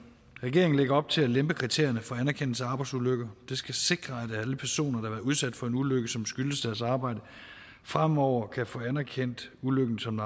regeringen lægger op til at lempe kriterierne for anerkendelse af arbejdsulykker det skal sikre at alle personer der har været udsat for en ulykke som skyldes deres arbejde fremover kan få anerkendt ulykken som